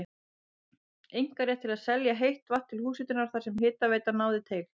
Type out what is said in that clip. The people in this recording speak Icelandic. einkarétt til að selja heitt vatn til húshitunar þar sem hitaveitan náði til.